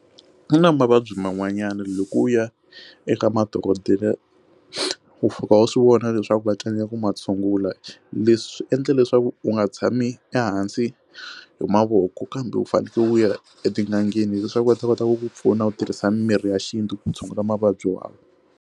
Ku na mavabyi man'wanyana loko u ya eka madokodela wu fika u swivona leswaku vatsoniwa ku matshungula leswi endla leswaku u nga tshami ehansi hi mavoko kambe u fanekele u ya etin'angeni leswaku va ta kota ku ku pfuna u tirhisa mimirhi ya xintu ku tshungula mavabyi wa.